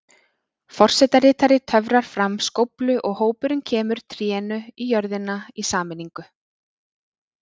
Forsetaritari töfrar fram skóflu og hópurinn kemur trénu í jörðina í sameiningu.